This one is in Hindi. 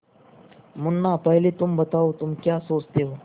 मुन्ना पहले तुम बताओ तुम क्या सोचते हो